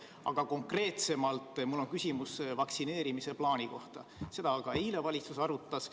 Aga konkreetsemalt mul on küsimus vaktsineerimise plaani kohta, seda ka eile valitsus arutas.